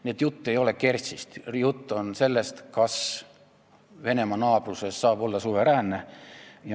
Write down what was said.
Nii et jutt ei ole Kertšist, jutt on sellest, kas Venemaa naabruses saab olla suveräänne.